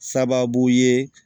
Sababu ye